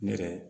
Ne yɛrɛ